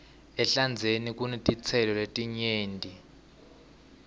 ehlandzeni kunetitselo letinengi